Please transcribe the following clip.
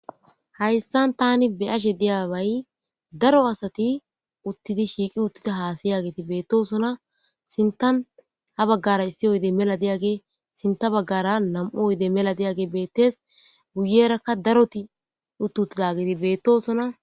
Hayssan tani beyashe diyaway daro asati uttidi shiiqi uttida haasi yaageti beettosona sintan ha baggara issi oyde mela di7age sinta baggara nam7u oyede mela diyage beettes guyerakka daroti utt uttidageti beettosona.